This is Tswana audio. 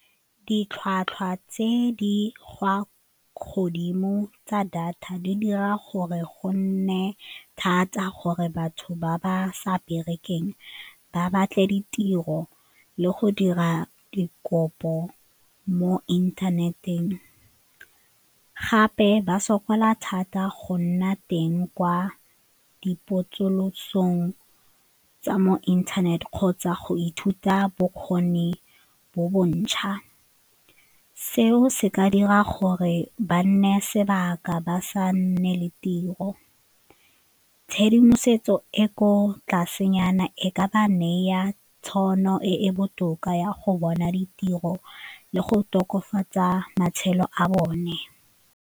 Ditlhwatlhwa tse di gwa godimo tsa data di dira gore go nne thata gore batho ba ba sa berekeng ba batle ditiro le go dira dikopo mo inthaneteng, gape ba sokola thata go nna teng kwa dipotsolotsong tsa mo internet kgotsa go ithuta bokgoni bo bontšha. Seo se ka dira gore ba nne sebaka ba sa nne le tiro tshedimosetso e ko tlasenyana e ka ba neya tšhono e e botoka ya go bona ditiro le go tokafatsa matshelo a bone.